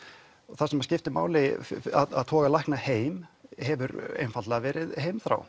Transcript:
það sem skiptir máli að toga lækna heim hefur einfaldlega verið heimþrá